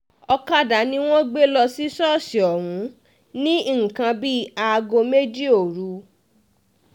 ọ̀kadà ni wọ́n lọ gbé lọ sí ṣọ́ọ̀ṣì ọ̀hún ní nǹkan bíi aago méjì òru